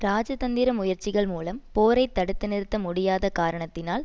இராஜ தந்திர முயற்சிகள் மூலம் போரை தடுத்து நிறுத்த முடியாத காரணத்தினால்